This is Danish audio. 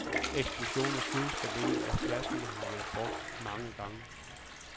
Eksplosionerne skyldes formentlig, at flaskerne har været brugt mange gange.